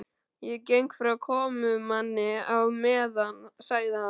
Ég geng frá komumanni á meðan sagði hann.